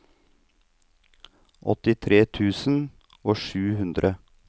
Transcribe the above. åttitre tusen og sju hundre